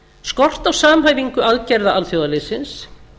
skort á samhæfingu aðgerða alþjóðaliðsins